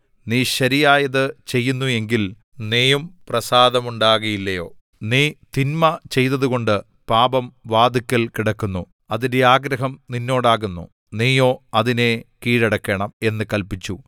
നീ ശരിയായത് ചെയ്യുന്നു എങ്കിൽ നീയും പ്രസാദമുണ്ടാകയില്ലയോ നീ തിന്മ ചെയ്തതുകൊണ്ട് പാപം വാതില്ക്കൽ കിടക്കുന്നു അതിന്റെ ആഗ്രഹം നിന്നോടാകുന്നു നീയോ അതിനെ കീഴടക്കണം എന്നു കല്പിച്ചു